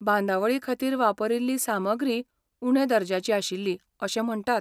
बांदावळीखातीर वापरील्ली सामग्रीय उण्या दर्ज्याची आशिल्ली अशें म्हणटात.